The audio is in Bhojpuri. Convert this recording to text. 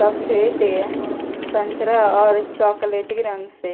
सफ़ेद ते संतरा और चोकलेटी रंग से।